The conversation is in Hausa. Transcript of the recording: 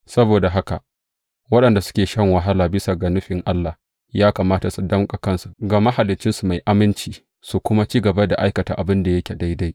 Saboda haka, waɗanda suke shan wahala bisa ga nufin Allah ya kamata su danƙa kansu ga Mahaliccinsu mai aminci, su kuma ci gaba da aikata abin da yake daidai.